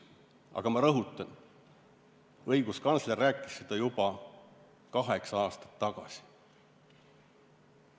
Aga ma rõhutan, et õiguskantsler rääkis seda juba kaheksa aastat tagasi.